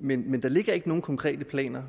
men men der ligger ikke umiddelbart nogle konkrete planer